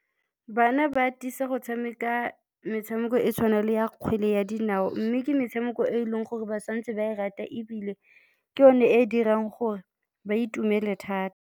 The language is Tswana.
Bana ba atisa go tshameka metshameko e tshwana le ya kgwele ya dinao mme ke metshameko e e leng gore ba santse ba e rata ebile ke yone e dirang gore ba itumele thata.